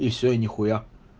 и все и нехуя